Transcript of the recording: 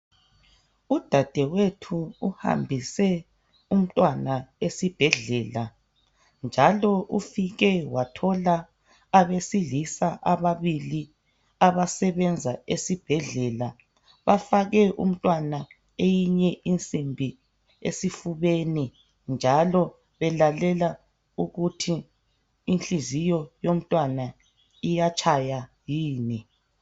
Udadewethu uhambise umntwana esibhedlela njalo ufike wathola abesilisa ababili abasebenza esibhedlela bafake umntwana eyinye insimbi esifubeni njalo belalela ukuthi inhliziyo yomntwana iyatshaya yini.